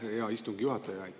Aitäh, hea istungi juhataja!